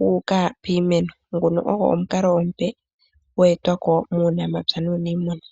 wuuka piimeno. Nguno ogo omukalo omupe gweekwako muunamapya nuniimuna.